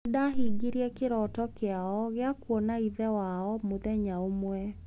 Nĩ ndaahingirie kĩroto kĩao gĩa gũkoona ithe wao mũthenya ũmwe.